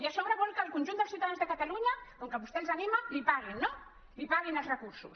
i a sobre vol que el conjunt dels ciutadans de catalunya com que vostè els anima paguin no li paguin els recursos